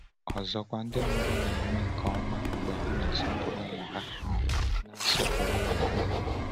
Ọzọkwa, ndị mụrụ na-eme nke ọma mgbe ha na-asọpụrụ ụmụ ha na-asọpụrụ ụmụ ha.